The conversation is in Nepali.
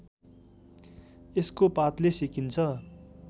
यसको पातले सेकिन्छ